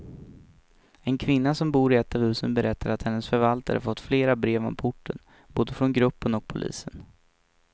En kvinna som bor i ett av husen berättar att hennes förvaltare fått flera brev om porten, både från gruppen och polisen.